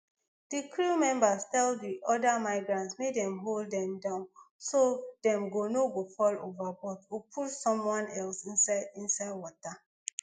di crew members tell di oda migrants make dem hold dem down so dem no go fall overboard or push someone else inside inside water